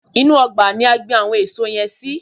Inú ọgbà ni a gbin àwọn èso yẹn sí.